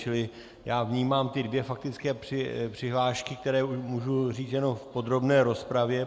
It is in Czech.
Čili já vnímám ty dvě faktické přihlášky, které už můžu říct jen v podrobné rozpravě.